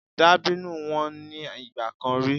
Dàbínù wọ́n ní ìgbà kan rí.